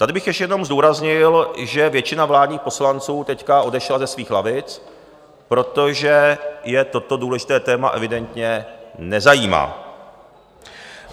Tady bych ještě jenom zdůraznil, že většina vládních poslanců teď odešla ze svých lavic, protože je toto důležité téma evidentně nezajímá.